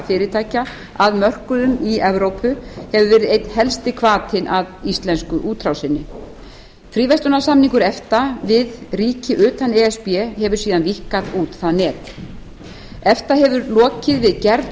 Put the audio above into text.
fyrirtækja að mörkuðum í evrópu hefur verið einn helsti hvatinn að íslensku útrásinni fríverslunarsamningar efta við ríki utan e s b hefur síðan víkkað út það net efta hefur lokið við gerð